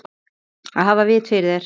Að hafa vit fyrir þér?